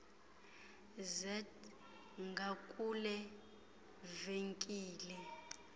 zet ngakule venkile